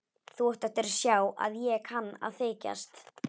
Þú átt eftir að sjá að ég kann að þykjast.